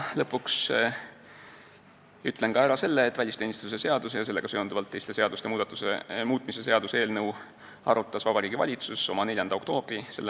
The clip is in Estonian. Lõpuks ütlen ära ka selle, et välisteenistuse seaduse ja sellega seonduvalt teiste seaduste muutmise seaduse eelnõu arutas Vabariigi Valitsus oma 4. oktoobri s.